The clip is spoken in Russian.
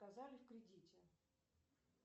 отказали в кредите